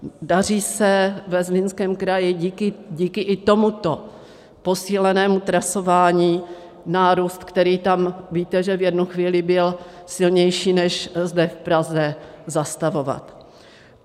Daří se ve Zlínském kraji díky i tomuto posílenému trasování nárůst, který tam, víte, že v jednu chvíli byl silnější než zde v Praze, zastavovat.